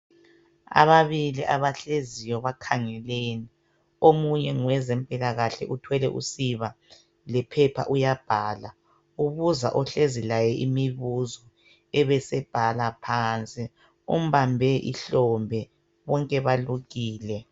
Ababili abahleziyo, bakhangelene. Omunye ngowezempilakahle. Uthwele usiba, lephepha uyabhala. Ubuza ohlezi laye imibuzo, abesebhala phansi. Umbambe ihlombe. Bonke balukile.